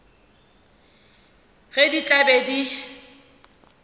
ge di tla be di